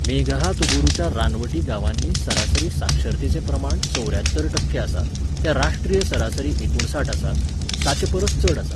मेघहातुबुरुच्या रानवटी गांवांनी सरासरी साक्षरतेचें प्रमाण चौऱ्यात्तर टक्के आसा, तें राष्ट्रीय सरासरी एकुणसाठ आसा, ताचेपरस चड आसा.